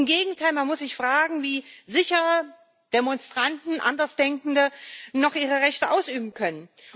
Im Gegenteil, man muss sich fragen, wie sicher Demonstranten Andersdenkende noch ihre Rechte ausüben können.